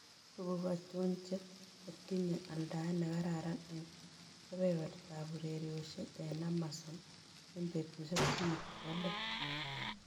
Tuguk achon che gotinye aldaet ne kararan eng' kebebertap ureriosiek eng' amazon eng' betusiek somok che po let